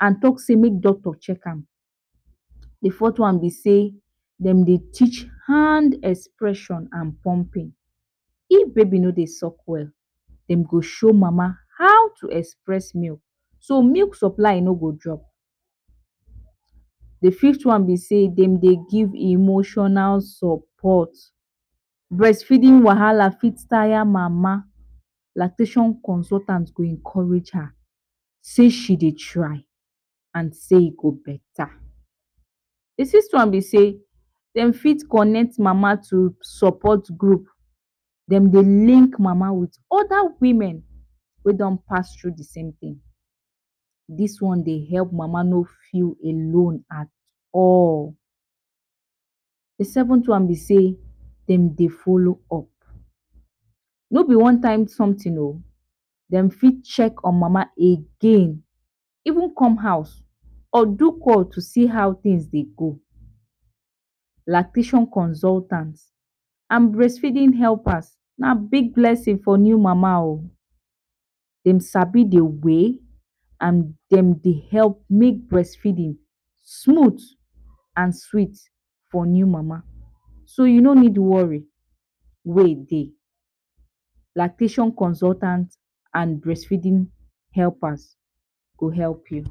and talk sey make doctor check am. De fourth one be sey dem dey teach hand expression and plumping. If baby no dey suck well, dem go show mama how to express milk so milk supply no go drop. De fifth one be sey, dem de give emotional support, breastfeeding wahala fit tire mama, lactation consultant go encourage her sey she dey try and sey e go beta. De sixth one one sey, dem fit connect mama to support group dem dey link mama to other women wey don pass through de same thing, dis one dey help mama no feel alone at all. de seventh one be sey, dem dey follow up, no be one time something o, dem fit check on mama again even come house or do call to see how things dey go. Lactation consultants and breastfeeding helpers na big blessing for new mama o dem sabi de way and dem dey help make breastfeeding smooth and sweet for new mama so you no need worry way dey. Lactation consultant and breastfeeding helpers go help you.